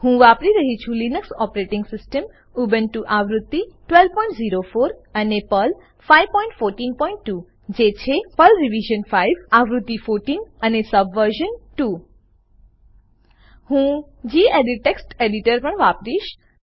હું વાપરી રહ્યી છું લીનક્સ ઓપરેટીંગ સીસ્ટમ ઉબુન્ટુ આવૃત્તિ 1204 અને પર્લ 5142 જે છે પર્લ રીવ્ર્જ્ન 5 આવૃત્તિ 14 અને સ્બ્વર્જ્ન 2 હું ગેડિટ ટેક્સ્ટ એડિટર પણ વાપરીશ